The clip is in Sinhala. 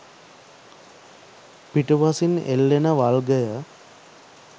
පිටුපසින් එල්ලෙන වල්ගය